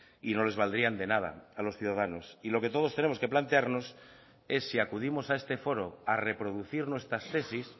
y no les valdrían de nada a los ciudadanos y lo que todos tenemos que plantearnos es si acudimos a este foro a reproducir nuestras tesis